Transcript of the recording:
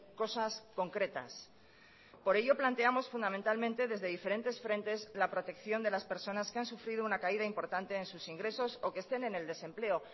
cosas concretas por ello planteamos fundamentalmente desde diferentes frentes la protección de las personas que han sufrido una caída importante en sus ingresos o que estén en el desempleo